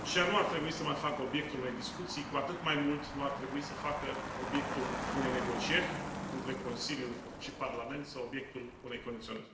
și ea nu ar trebui să mai facă obiectul unei discuții, cu atât mai mult nu ar trebui să facă obiectul unei negocieri între Consiliu și Parlament sau obiectul unei condiționări.